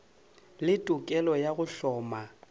le tokelo ya go hloma